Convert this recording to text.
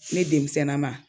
Ne denmisɛn na ma.